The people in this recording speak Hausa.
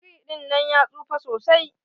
Biri dinnan ya tsufa sosai.